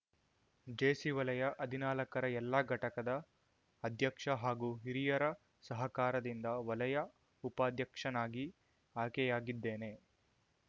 JC ವಲಯ ಹದಿನಾಲ್ಕರ ಎಲ್ಲ ಘಟಕದ ಅಧ್ಯಕ್ಷ ಹಾಗೂ ಹಿರಿಯರ ಸಹಕಾರದಿಂದ ವಲಯ ಉಪಾಧ್ಯಕ್ಷನಾಗಿ ಆಯ್ಕೆಯಾಗಿದ್ದೇನೆ